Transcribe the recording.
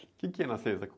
O quê que ia na cesta?